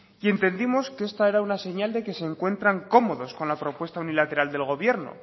y entendimos que esta era una señal de que se encuentran cómodos con la propuesta unilateral del gobierno